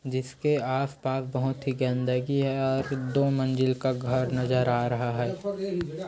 जिस के आस-पास बोहत ही गन्दगी है और यहाँ से दो मंज़िल का घर नज़र आ रहा है। ]